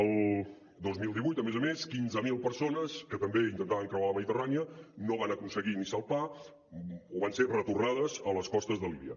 el dos mil divuit a més a més quinze mil persones que també intentaven creuar la mediterrània no van aconseguir ni salpar o van ser retornades a les costes de líbia